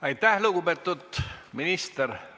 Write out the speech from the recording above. Aitäh, lugupeetud minister!